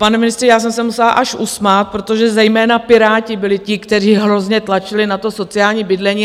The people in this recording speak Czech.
Pane ministře, já jsem se musela až usmát, protože zejména Piráti byli ti, kteří hrozně tlačili na to sociální bydlení.